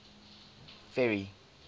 ferry